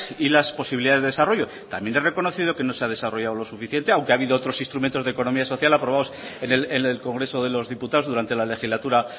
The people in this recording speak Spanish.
y las posibilidades de desarrollo también he reconocido que no se ha desarrollado lo suficiente aunque ha habido otros instrumentos de economía social aprobados en el congreso de los diputados durante la legislatura